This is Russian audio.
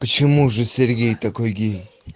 почему же сергей такой гей